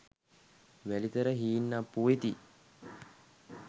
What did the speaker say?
වැලිතර හීන්අප්පු වෙති.